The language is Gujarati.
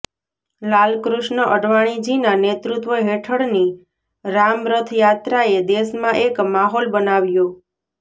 લાલકૃષ્ણ અડવાણીજીના નેતૃત્વ હેઠળની રામરથયાત્રાએ દેશમાં એક માહોલ બનાવ્યો